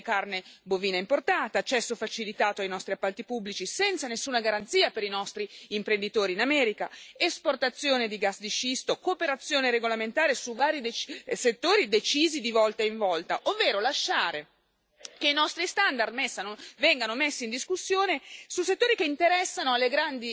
Riduzione dei dazi su alcuni prodotti, ma non solo aumenti delle quote di carne bovina importata, accesso facilitato ai nostri appalti pubblici, senza nessuna garanzia per i nostri imprenditori in America, esportazione di gas di scisto, cooperazione regolamentare su vari settori decisi di volta in volta, ovvero lasciare che i nostri standard